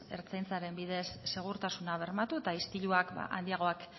ertzaintzaren bidez segurtasuna bermatu eta istiluak handiagoak